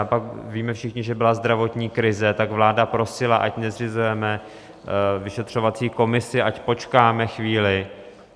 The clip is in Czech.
A pak víme všichni, že byla zdravotní krize, tak vláda prosila, ať nezřizujeme vyšetřovací komisi, ať počkáme chvíli.